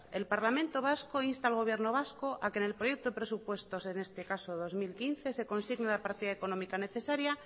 el parlamento vasco insta al gobierno vasco a que en el proyecto de presupuestos en este caso dos mil quince se consigne la partida económica necesaria